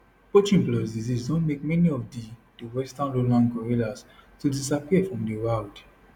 poaching plus disease don make many of di di western lowland gorillas to disappear for di wild